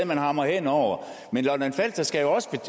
man hamrer hen over men lolland falster skal jo også